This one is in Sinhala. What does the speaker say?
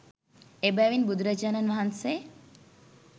එබැවින් බුදුරජාණන් වහන්සේ